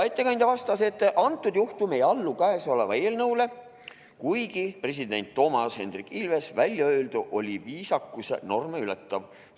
Ettekandja vastas, et antud juhtum ei allu käesolevale eelnõule, kuigi president Toomas Hendrik Ilvese väljaöeldu oli viisakuse norme ületav.